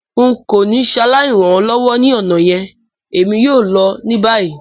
N ko ni saláì ran ọ lọwọ ni ọna yẹn, èmi yoo lọ ni bayi.